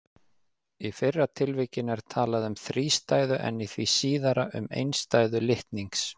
Í fyrra tilvikinu er talað um þrístæðu en í því síðara um einstæðu litnings.